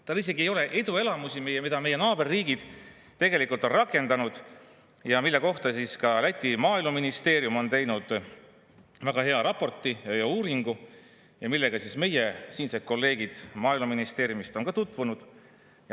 Tal ei ole ette tuua eduelamusi, mida meie naaberriigid tegelikult on rakendanud ja mille kohta ka Läti maaeluministeerium on teinud väga hea raporti, uuringu, ja millega meie siinsed kolleegid Maaeluministeeriumist on ka tutvunud.